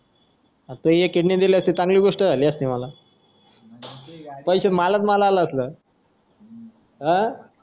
हा तू एकीने दिली असती तर चांगली गोष्ट झाली असती मला पैसे मलाच मला आले असते अं